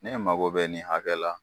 Ne ye mako bɛ nin hakɛ la.